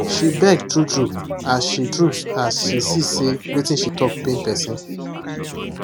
she beg true true as she true as she see say wetin she talk pain person